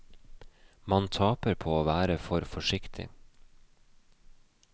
Man taper på å være for forsiktig.